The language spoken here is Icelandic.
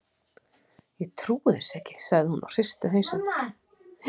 Ég trúi þessu ekki, sagði hún og hristi hausinn.